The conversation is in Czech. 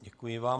Děkuji vám.